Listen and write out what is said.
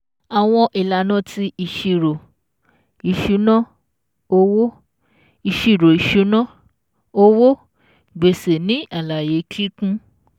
ÀWỌN ÌLÀNÀ TI ÌṢÍRÒ ÌṢÚNÁ-OWÓ ÌṢÍRÒ ÌṢÚNÁ-OWÓ GBÈSÈ NÌ ÀLÀYÉ KÍKÚN